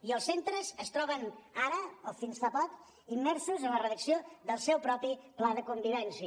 i els centres es troben ara o fins fa poc immersos en la redacció del seu propi pla de convivència